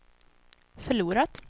förlorat